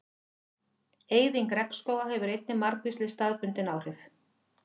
Eyðing regnskóga hefur einnig margvísleg staðbundin áhrif.